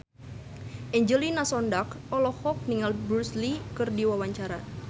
Angelina Sondakh olohok ningali Bruce Lee keur diwawancara